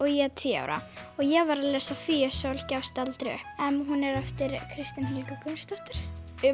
ég er tíu ára og ég var að lesa Fía Sól gefst aldrei upp en hún er eftir Kristínu Helgu Gunnarsdóttur